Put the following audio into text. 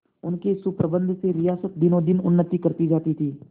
उनके सुप्रबंध से रियासत दिनोंदिन उन्नति करती जाती थी